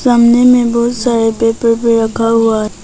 सामने में बहुत सारे पेपर भी रखा हुआ है।